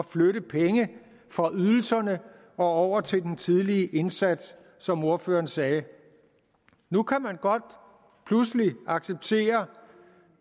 flytte penge fra ydelserne og over til den tidlige indsats som ordføreren sagde nu kan man godt pludselig acceptere